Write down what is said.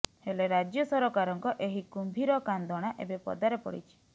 ହେଲେ ରାଜ୍ୟ ସରକାରଙ୍କ ଏହି କୁମ୍ଭୀର କାନ୍ଦଣା ଏବେ ପଦାରେ ପଡ଼ିଛି